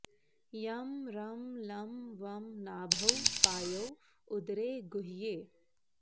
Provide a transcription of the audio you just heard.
यं रं लं वं नाभौ पायौ उदरे गुह्ये